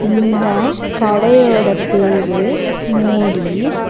இந்த கடையோட பேரு மோடீஸ் .